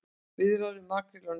Viðræður um makríl á ný